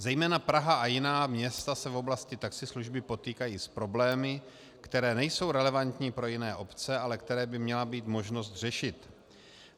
Zejména Praha a jiná města se v oblasti taxislužby potýkají s problémy, které nejsou relevantní pro jiné obce, ale které by měla být možnost řešit.